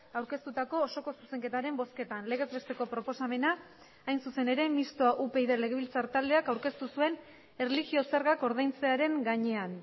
aurkeztutako osoko zuzenketaren bozketan legez besteko proposamena hain zuzen ere mistoa upyd legebiltzar taldeak aurkeztu zuen erlijio zergak ordaintzearen gainean